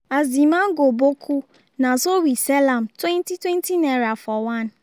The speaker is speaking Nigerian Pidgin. as the mango boku na so we sell am twenty twenty naira for one